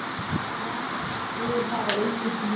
Vanskil hafa aukist til muna.